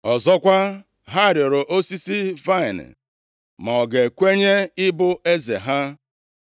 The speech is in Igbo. “Ọzọkwa, ha rịọrọ osisi vaịnị ma ọ ga-ekwenye ịbụ eze ha.